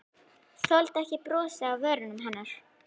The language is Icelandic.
Þoldi ekki brosið á vörum hennar.